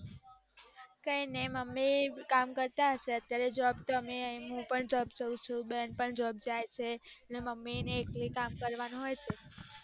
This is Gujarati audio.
કાય નાય મુમ્મી કામ કરતા હીસે અત્યારે job અત્યારે હું પણ જાઉં છુ બેન પણ જાય છેને મમ્મી ને એકલા કામ કરવાનું હોઈછે.